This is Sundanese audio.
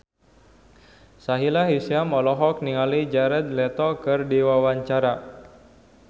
Sahila Hisyam olohok ningali Jared Leto keur diwawancara